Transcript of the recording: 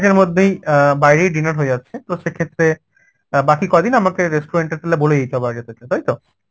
মধ্যেই অ্যাঁ বাইরেই dinner হয়ে যাচ্ছে তো সেক্ষেত্রে অ্যাঁ বাকি কদিন আমাকে restaurant এ গেলে বলে দিতে হবে আগে থেকে তাই তো?